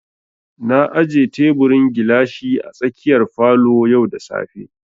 Na aje teburin gilashi a tsakiyar falo yau da safe